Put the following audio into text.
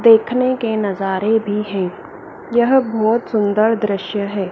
देखने के नजारे भी है। यह बहोत सुंदर दृश्य है।